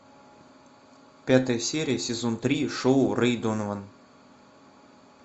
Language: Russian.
пятая серия сезон три шоу рэй донован